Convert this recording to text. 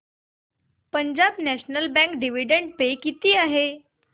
Punjab national bank dividend पे किती आहे